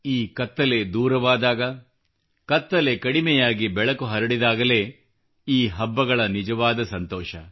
ಈ ಕತ್ತಲೆ ದೂರವಾದಾಗ ಕಡಿಮೆಯಾಗಿ ಬೆಳಕು ಹರಡಿದಾಗಲೇ ಈ ಹಬ್ಬಗಳ ನಿಜವಾದ ಸಂತೋಷ